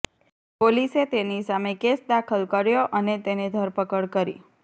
પોલીસે તેની સામે કેસ દાખલ કર્યો અને તેને ધરપકડ કરી